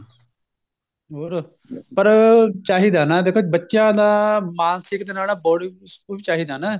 ਹੋਰ ਪਰ ਚਾਹੀਦਾ ਨਾ ਦੇਖੋ ਬੱਚਿਆਂ ਦਾ ਮਾਨਸਿਕ ਦੇਣ ਵਾਲਾ body school ਚਾਹੀਦਾ ਨਾ